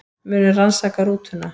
Munu rannsaka rútuna